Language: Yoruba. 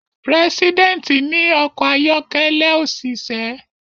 Preseident ní ọkọ̀ ayọ́kẹ́lẹ́ òṣìṣẹ́.